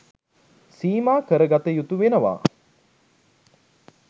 සීමා කරගත යුතු වෙනවා.